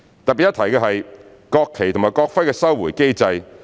特別一提的是國旗及國徽的收回機制。